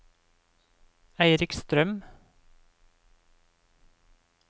Eirik Strøm